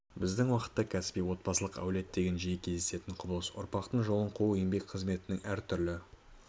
біздің уақытта кәсіби отбасылық әулет деген жиі кездесетін құбылыс ұрпақтың жолын қуу еңбек қызметінің әр түрлі